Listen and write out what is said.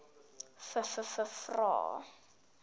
vvvvrae